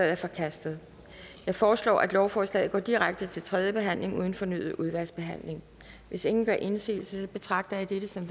er forkastet jeg foreslår at lovforslaget går direkte til tredje behandling uden fornyet udvalgsbehandling hvis ingen gør indsigelse betragter jeg dette som